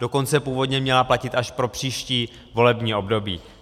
Dokonce původně měla platit až pro příští volební období.